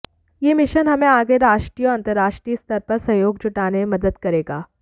यह मिशन हमें आगे राष्ट्रीय और अंतरराष्ट्रीय स्तर पर सहयोग जुटाने में मदद करेगा